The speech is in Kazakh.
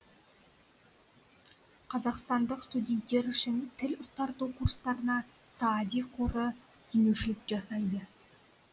қазақстандық студенттер үшін тіл ұстарту курстарына саади қоры демеушілік жасайды